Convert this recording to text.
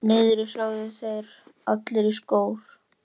Niðri, sögðu þeir allir í kór.